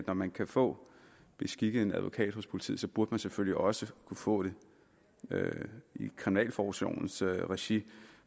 når man kan få beskikket en advokat hos politiet burde man selvfølgelig også kunne få det i kriminalforsorgens regi